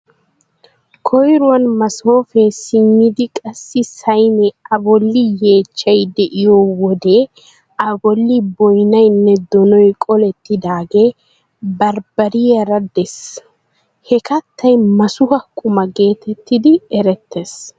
Koyruwan masoofee simmidi qassi sayinee A bolli yeecchchay de'iyo wode A bolli boynaynne donoy qolettidaagee barbbariyara de'ees. Ha kattay masuha quma geetettidi erettees.